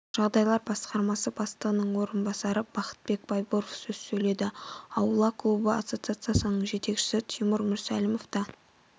жағдайлар басқармасы бастығының орынбасары бақытбек байбуров сөз сөйледі аула клубы ассоциациясының жетекшісі тимур мүрсәлімов та